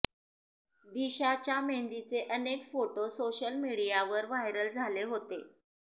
दिशाच्या मेहंदीचे अनेक photo social मीडियावर व्हायरल झाले होते